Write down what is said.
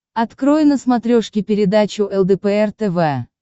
открой на смотрешке передачу лдпр тв